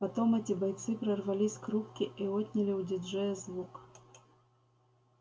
потом эти бойцы прорвались к рубке и отняли у диджея звук